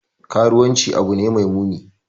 Karuwanci abu ne mai muni.